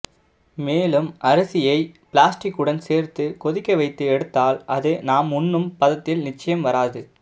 மேலும் அரிசியை ப்ளாஸ்டிக்குடன் சேர்த்து கொதிக்க வைத்து எடுத்தால் அது நாம் உண்ணும் பதத்தில் நிச்சயம் வராது